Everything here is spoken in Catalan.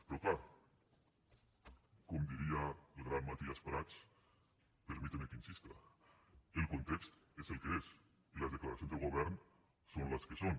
però clar com diria el gran matías prats permíteme que insista el context és el que és i les declaracions del govern són les que són